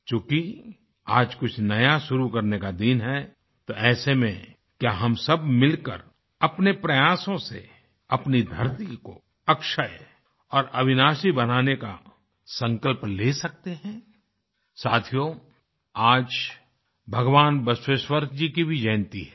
चूँकि आज कुछ नया शुरू करने का दिन है तो ऐसे में क्या हम सब मिलकर अपने प्रयासों से अपनी धरती को अक्षय और अविनाशी बनाने का संकल्प ले सकते हैं साथियो आज भगवान बसवेश्वर जी की भी जयन्ती है